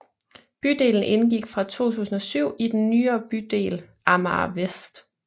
Bydelen indgik fra 2007 i den nyere bydel Amager Vest